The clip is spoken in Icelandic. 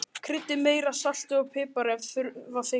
Kryddið með meira salti og pipar ef þurfa þykir.